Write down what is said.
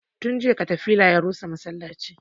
Tun jiya katafila ya rusa masallacin